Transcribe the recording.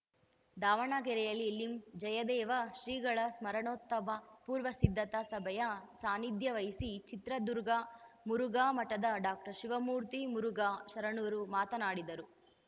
ದಾವಣಗೆರೆಯಲ್ಲಿ ಲಿಂ ಜಯದೇವ ಶ್ರೀಗಳ ಸ್ಮರಣೋತ್ಸವ ಪೂರ್ವ ಸಿದ್ಧತಾ ಸಭೆಯ ಸಾನಿಧ್ಯ ವಹಿಸಿ ಚಿತ್ರದುರ್ಗ ಮುರುಘಾ ಮಠದ ಡಾಕ್ಟರ್ ಶಿವಮೂರ್ತಿ ಮುರುಘಾ ಶರಣರು ಮಾತನಾಡಿದರು